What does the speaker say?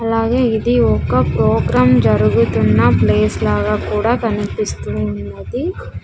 అలాగే ఇది ఒక ప్రోగ్రామ్ జరుగుతున్న ప్లేస్ లాగా కూడా కనిపిస్తూ ఉన్నది.